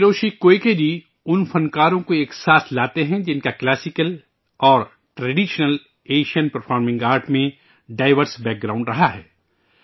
Hiroshi Koike ji ان فنکاروں کو ایک ساتھ لاتے ہیں ، جن کا کلاسیکل اور ٹریڈیشنل ایشین پرفارمننگ آرٹ میں ڈائیورس بیک گراونڈ رہا ہے